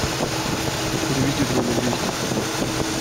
переведи другу двести